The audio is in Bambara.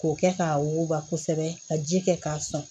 K'o kɛ k'a wuguba kosɛbɛ ka ji kɛ k'a sɔn